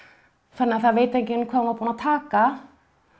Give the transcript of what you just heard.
þannig að það veit enginn hvað hún var búin að taka